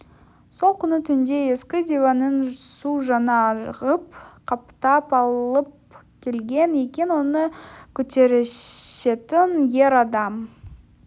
сол күні түнде ескі диванын су жаңа ғып қаптап алып келген екен оны көтерісетін ер адам